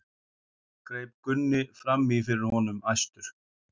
greip Gunni fram í fyrir honum æstur.